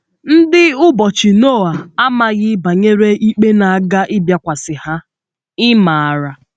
Ndị ụbọchị Noa amaghị banyere ikpe na - aga ịbịakwasị ha — ị̀ maara?